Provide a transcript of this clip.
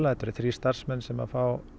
þetta eru þrír starfsmenn sem fá